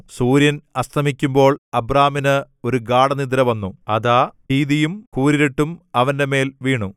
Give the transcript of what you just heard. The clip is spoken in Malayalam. സൂര്യൻ അസ്തമിക്കുമ്പോൾ അബ്രാമിന് ഒരു ഗാഢനിദ്ര വന്നു അതാ ഭീതിയും കൂരിരുട്ടും അവന്റെമേൽ വീണു